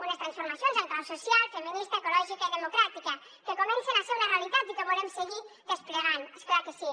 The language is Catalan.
unes transformacions en clau social feminista ecològica i democràtica que comencen a ser una realitat i que volem seguir desplegant és clar que sí